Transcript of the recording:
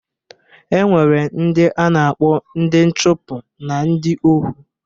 E nwere ndị a na-akpọ ndị nchụpụ na ndị ohu